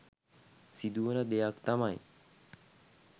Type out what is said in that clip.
සිදුවන දෙයක් තමයි